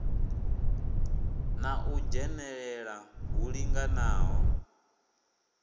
na u dzhenelela hu linganaho